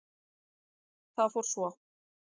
Það fór svo.